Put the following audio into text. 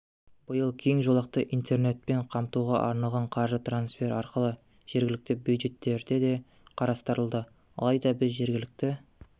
биыл кең жолақты интернетпен қамтуға арналған қаржы трансфер арқылы жергілікті бюджеттерде де қарастырылды алайда біз жергілікті